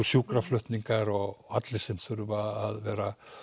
sjúkraflutningar og allir sem þurfa að vera